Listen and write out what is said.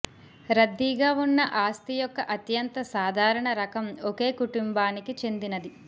రద్దీగా ఉన్న ఆస్తి యొక్క అత్యంత సాధారణ రకం ఒకే కుటుంబానికి చెందినది